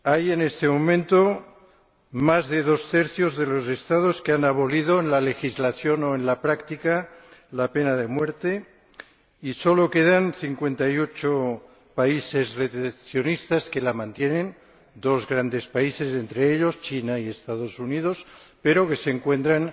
En este momento más de dos tercios de los Estados han abolido en la legislación o en la práctica la pena de muerte y solo quedan 58 países retencionistas que la mantienen, entre ellos dos grandes países China y los Estados Unidos, pero que se encuentran